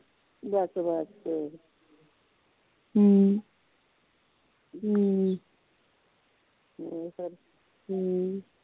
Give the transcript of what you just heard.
ਬਸ ਬਸ